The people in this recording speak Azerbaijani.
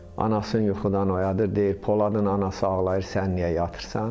Anasını yuxudan oyadır, deyir Poladın anası ağlayır, sən niyə yatırsan?